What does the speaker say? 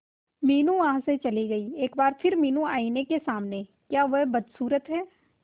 मीनू वहां से चली गई एक बार फिर मीनू आईने के सामने क्या वह बदसूरत है